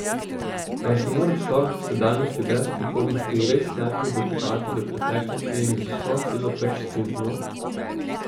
Mar se mora človek v sedanjosti brez prihodnosti res najprej dokopati do preteklosti in z vso silo trčiti z njo?